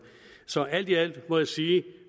så alt i alt må jeg sige at